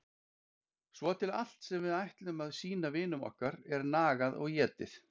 Svo til allt sem við ætlum að sýna vinum okkar er nagað og étið.